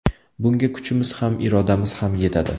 Bunga kuchimiz ham, irodamiz ham yetadi.